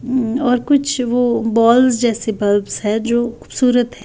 हम्म और कुछ वो बॉल्स जैसे बल्ब्स हैं जो खूबसूरत हैं।